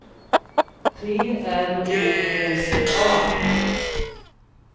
T R O S A